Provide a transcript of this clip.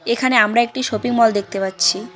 এখানে আমরা একটি শপিং মল দেখতে পাচ্ছি।